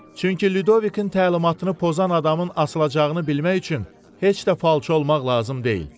Çünki Lyudovikin təlimatını pozan adamın asılacağını bilmək üçün heç də falçı olmaq lazım deyil.